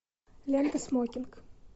лента смокинг